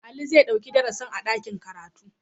Ali zai ɗauki darasin a dakin karatu.